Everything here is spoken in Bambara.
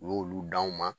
U y'olu d'anw ma